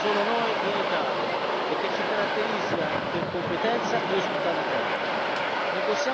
un'eccellenza che abbiamo solo noi in Italia e che ci caratterizza per competenza e ospitalità.